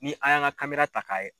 Ni an y'an ka ta k'a ye